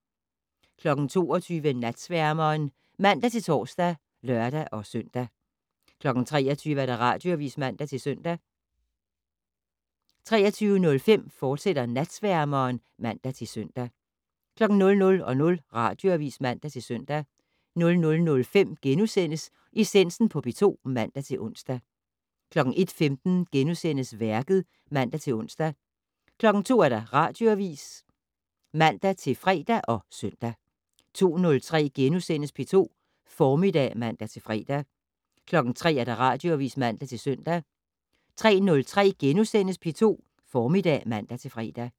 22:00: Natsværmeren (man-tor og lør-søn) 23:00: Radioavis (man-søn) 23:05: Natsværmeren, fortsat (man-søn) 00:00: Radioavis (man-søn) 00:05: Essensen på P2 *(man-ons) 01:15: Værket *(man-ons) 02:00: Radioavis (man-fre og søn) 02:03: P2 Formiddag *(man-fre) 03:00: Radioavis (man-søn) 03:03: P2 Formiddag *(man-fre)